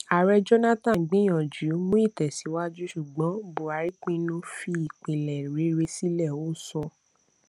ààrẹ jonathan gbìyànjú mú ìtẹsíwájú ṣùgbọn buhari pinnu fi ìpìlẹ̀ rere sílẹ̀ ó sọ